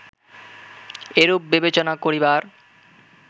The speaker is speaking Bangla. এরূপ বিবেচনা করিবার